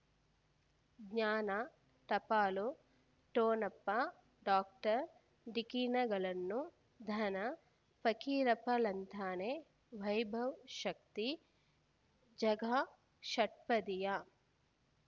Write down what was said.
ಜ್ಞಾನ ಟಪಾಲು ಠೊಣಪ ಡಾಕ್ಟರ್ ಢಿಕ್ಕಿ ಣಗಳನು ಧನ ಫಕೀರಪ್ಪ ಳಂತಾನೆ ವೈಭವ್ ಶಕ್ತಿ ಝಗಾ ಷಟ್ಪದಿಯ